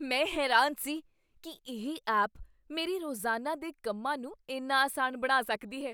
ਮੈਂ ਹੈਰਾਨ ਸੀ ਕੀ ਇਹ ਐਪ ਮੇਰੇ ਰੋਜ਼ਾਨਾ ਦੇ ਕੰਮਾਂ ਨੂੰ ਇੰਨਾ ਆਸਾਨ ਬਣਾ ਸਕਦੀ ਹੈ।